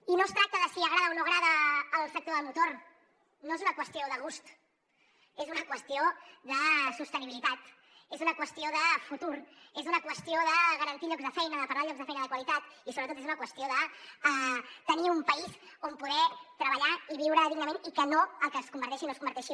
i no es tracta de si agrada o no agrada el sector del motor no és una qüestió de gust és una qüestió de sostenibilitat és una qüestió de futur és una qüestió de garantir llocs de feina de parlar de llocs de feina de qualitat i sobretot és una qüestió de tenir un país on poder treballar i viure dignament i no que es converteixi o no es converteixi